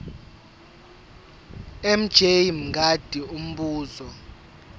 mj mngadi umbuzo